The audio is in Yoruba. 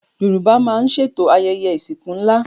Yorùbá máa ń ṣètò ayẹyẹ ìsìnkú ńlá